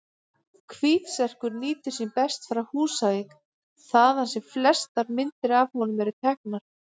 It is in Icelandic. Hvítserkur nýtur sín best frá Húsavík, þaðan sem flestar myndir af honum eru teknar.